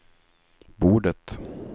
bordet